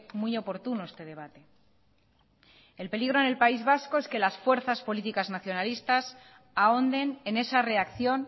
muy oportuno este debate el peligro en el país vasco es que las fuerzas políticas nacionalistas ahonden en esa reacción